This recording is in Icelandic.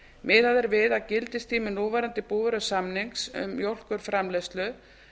miðað er við gildistíma núverandi búvörusamnings um mjólkurframleiðslu